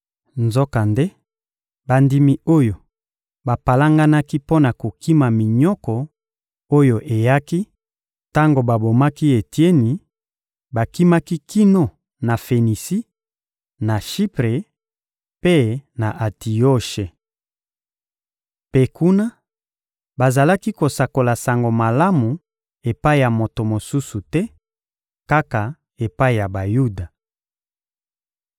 Nzokande, bandimi oyo bapalanganaki mpo na kokima minyoko oyo eyaki tango babomaki Etieni, bakimaki kino na Fenisi, na Shipre mpe na Antioshe. Mpe kuna, bazalaki kosakola Sango Malamu epai ya moto mosusu te, kaka epai ya Bayuda.